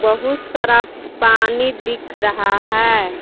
बहुत सारा पानी दिख रहा है।